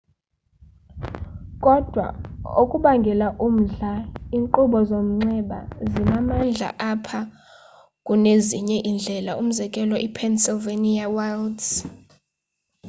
kodwa okubangela umdla iinkqubo zomnxxeba zinamandla apha kunezinye iindlela umzekelo i-pennsylvania wilds